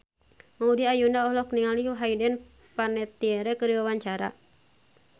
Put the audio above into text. Maudy Ayunda olohok ningali Hayden Panettiere keur diwawancara